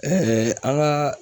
an ka